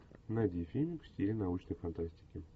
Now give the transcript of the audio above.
найди фильм в стиле научной фантастики